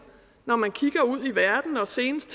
når man kigger ud i verden og senest